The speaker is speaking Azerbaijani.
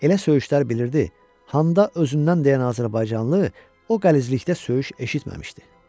Elə söyüşlər bilirdi, həndə özündən dəyən azərbaycanlı o qəlizlikdə söyüş eşitməmişdi.